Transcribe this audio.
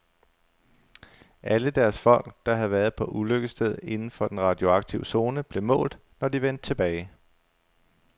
Alle deres folk, der havde været på ulykkesstedet inden for den radioaktive zone, blev målt, når de vendte tilbage.